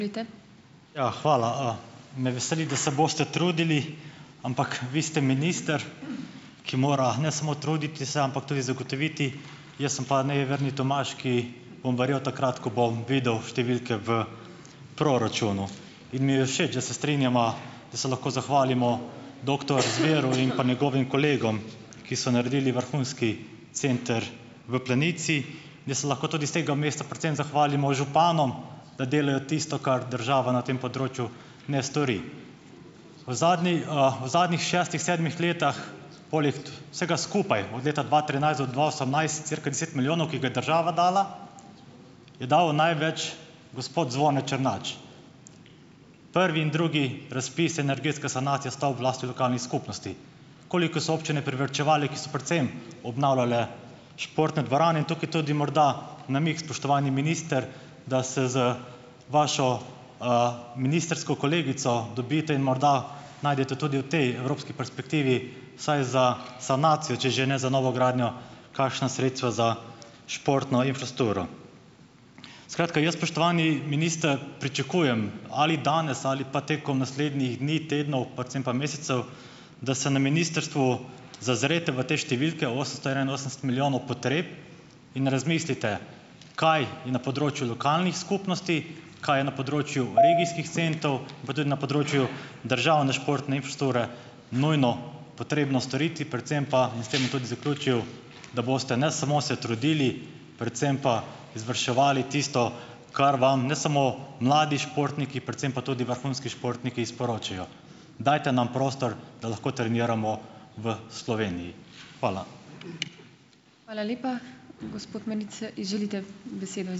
Ja, hvala, Me veseli, da se boste trudili, ampak vi ste minister, ki mora, ne samo truditi se, ampak tudi zagotoviti. Jaz sem pa nejeverni Tomaž, ki bom verjel takrat, ko bom videl številke v proračunu. In mi je všeč, da se strinjava, da se lahko zahvalimo doktor Zveru in pa njegovim kolegom, ki so naredili vrhunski center v Planici. Jaz se lahko tudi s tega mesta predvsem zahvalim županom, da delajo tisto, kar država na tem področju ne stori. V zadnji, v zadnjih šestih, sedmih letih vsega skupaj, od leta dva trinajst do dva osemnajst cirka deset milijonov, ki ga je država dala, je dal največ gospod Zvone Črnač. Prvi in drugi razpis energetska sanacija stavb v lasti lokalnih skupnosti, koliko so občine privarčevale, ki so predvsem obnavljale športne dvorane. In tukaj tudi morda namig, spoštovani minister, da se z vašo, ministrsko kolegico dobite in morda najdete tudi v tej evropski perspektivi vsaj za sanacijo, če že ne za novogradnjo, kakšna sredstva za športno infrastrukturo. Skratka, jaz, spoštovani minister, pričakujem ali danes ali pa tekom naslednjih dni, tednov, predvsem pa mesecev, da se na ministrstvu zazrete v te številke, osemsto enainosemdeset milijonov potreb, in razmislite, kaj je na področju lokalnih skupnosti, kaj je na področju regijskih centrov in pa tudi na področju državne športne infrastrukture nujno potrebno storiti, predvsem pa - in s tem bi tudi zaključil - da boste ne samo se trudili, predvsem pa izvrševali tisto, kar vam ne samo mladi športniki, predvsem pa tudi vrhunski športniki sporočajo. Dajte nam prostor, da lahko treniramo v Sloveniji. Hvala.